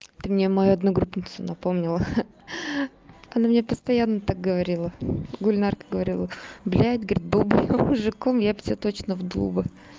ты мне мою одногруппницу напомнила она мне постоянно так говорила гульнара говорила блядь был бы я мужиком я бы тебя точно вдул бы